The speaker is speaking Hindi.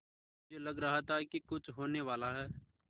मुझे लग रहा था कि कुछ होनेवाला है